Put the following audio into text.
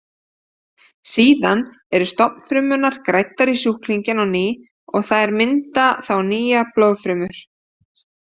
Síðan eru stofnfrumurnar græddar í sjúklinginn á ný og þær mynda þá nýjar blóðfrumur.